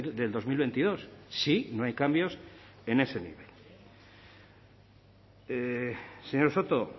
del dos mil veintidós si no hay cambios en ese nivel señor soto